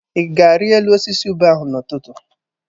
Ị ga-ari elu osisi ube ahụ n'ụtụtụ?